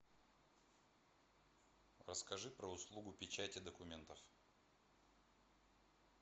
расскажи про услугу печати документов